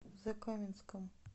закаменском